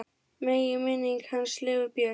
Megi minning hans lifa björt.